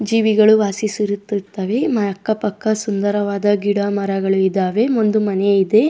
ಜೀವಿಗಳು ವಾಸಿಸಿರುತ್ತವೆ ಅಕ್ಕ ಪಕ್ಕ ಸುಂದರವಾದ ಗಿಡ ಮರಗಳು ಇದಾವೆ ಒಂದು ಮನೆ ಇದೆ.